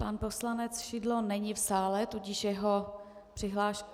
Pan poslanec Šidlo není v sále, tudíž jeho přihlášku...